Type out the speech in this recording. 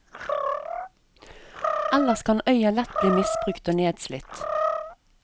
Ellers kan øya lett bli misbrukt og nedslitt.